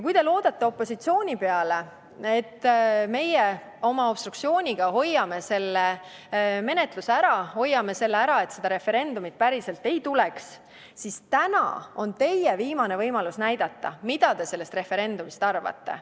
Kui te loodate opositsiooni peale, et meie obstruktsiooniga hoiame selle menetluse ära, nii et seda referendumit päriselt ei tuleks, siis täna on teie viimane võimalus näidata, mida teie sellest referendumist arvate.